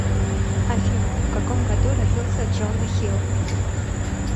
афина в каком году родился джона хилл